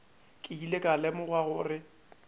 ke ile ka lemoga gore